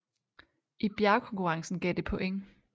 I bjergkonkurrencen gav det point